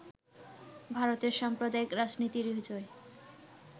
ভারতে সাম্প্রদায়িক রাজনীতিরই জয়